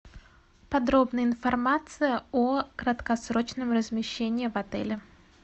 подробная информация о краткосрочном размещении в отеле